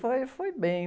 Foi, foi bem.